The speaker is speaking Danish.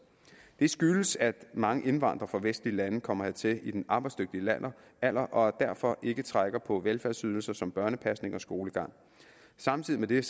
det skyldes at mange indvandrere fra vestlige lande kommer hertil i den arbejdsdygtige alder og derfor ikke trækker på velfærdsydelser som børnepasning og skolegang samtidig